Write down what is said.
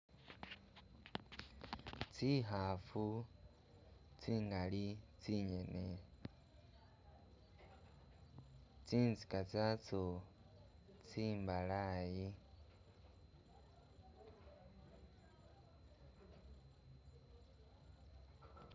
Tsikhafu tsingali tsinyene tsinzika tsatso tsimbalayi